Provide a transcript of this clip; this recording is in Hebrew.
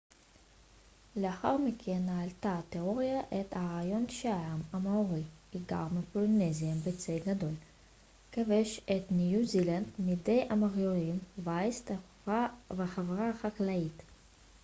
לאחר מכן העלתה התאוריה את הרעיון שהעם המאורי היגר מפולינזיה בצי גדול כבש את ניו זילנד מידי המוריורים וייסד חברה חקלאית